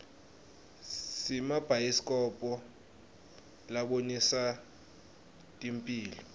simabhayisikobho labonisa temphilo